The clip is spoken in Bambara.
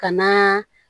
Ka na